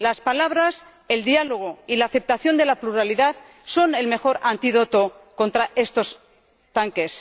Las palabras, el diálogo y la aceptación de la pluralidad son el mejor antídoto contra los tanques.